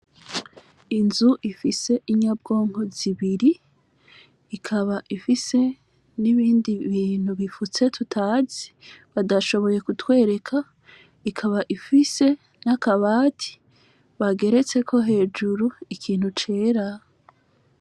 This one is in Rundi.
Inzu ifise inyabwonko zibiri, ikaba ifise n' ibindi bintu bifutse tutazi, badashoboye kutwereka , ikaba ifise n' akabati bageretseko hejuru ikintu cera.